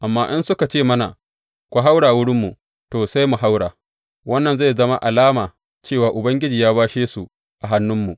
Amma in suka ce mana, Ku haura wurinmu,’ to, sai mu haura, wannan zai zama mana alama cewa Ubangiji ya bashe su a hannunmu.